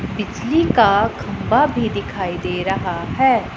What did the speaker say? बिजली का खंभा भी दिखाई दे रहा है।